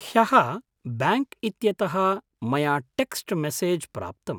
ह्यः ब्याङ्क् इत्यतः मया टेक्स्ट् मेसेज् प्राप्तम्।